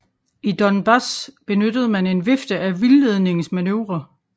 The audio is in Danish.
I Donbas benyttede man en vifte af vildledningsmanøvrer